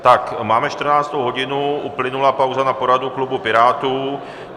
Máme 14. hodinu, uplynula pauza na poradu klubu Pirátů.